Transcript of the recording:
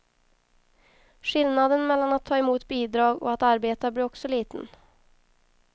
Skillnaden mellan att ta emot bidrag och att arbeta blir också liten.